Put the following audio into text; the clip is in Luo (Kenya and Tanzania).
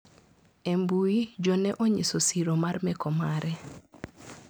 E mbui jo ne onyiso siro mar meko mare.